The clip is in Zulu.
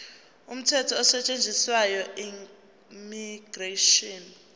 umthetho osetshenziswayo immigration